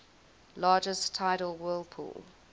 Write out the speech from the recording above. largest tidal whirlpool